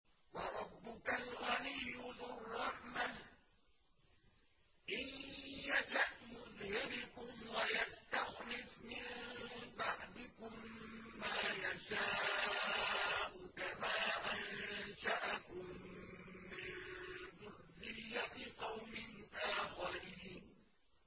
وَرَبُّكَ الْغَنِيُّ ذُو الرَّحْمَةِ ۚ إِن يَشَأْ يُذْهِبْكُمْ وَيَسْتَخْلِفْ مِن بَعْدِكُم مَّا يَشَاءُ كَمَا أَنشَأَكُم مِّن ذُرِّيَّةِ قَوْمٍ آخَرِينَ